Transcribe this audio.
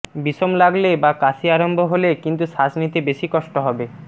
বিষম লাগলে বা কাশি আরম্ভ হলে কিন্তু শ্বাস নিতে বেশি কষ্ট হবে